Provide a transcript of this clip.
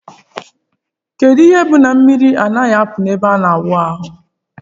Kedu ihe bu na mmiri adighi apu na ebe ina awụ ahu?